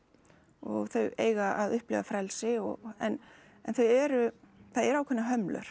og þau eiga að upplifa frelsi og en þau eru það eru ákveðnar hömlur